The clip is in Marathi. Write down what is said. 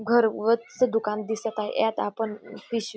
भर गच्च दुकान दिसत आहे यात आपण पिशवी --